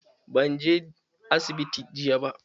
Ban je asibiti jiya ba.